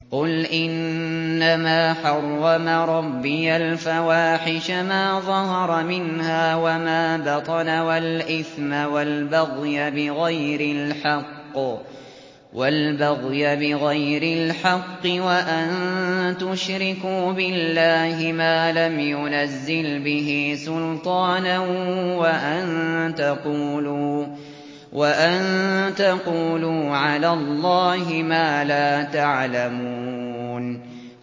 قُلْ إِنَّمَا حَرَّمَ رَبِّيَ الْفَوَاحِشَ مَا ظَهَرَ مِنْهَا وَمَا بَطَنَ وَالْإِثْمَ وَالْبَغْيَ بِغَيْرِ الْحَقِّ وَأَن تُشْرِكُوا بِاللَّهِ مَا لَمْ يُنَزِّلْ بِهِ سُلْطَانًا وَأَن تَقُولُوا عَلَى اللَّهِ مَا لَا تَعْلَمُونَ